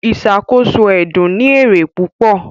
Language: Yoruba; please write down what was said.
Ìṣàkóso ẹdun ní èrè púpò